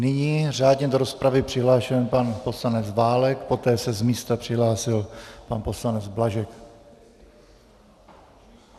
Nyní řádně do rozpravy přihlášený pan poslanec Válek, poté se z místa přihlásil pan poslanec Blažek.